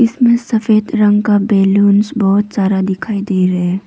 सफेद रंग का बैलून्स बहोत सारा दिखाई दे रहे--